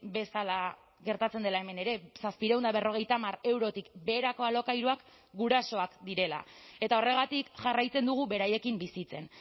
bezala gertatzen dela hemen ere zazpiehun eta berrogeita hamar eurotik beherako alokairuak gurasoak direla eta horregatik jarraitzen dugu beraiekin bizitzen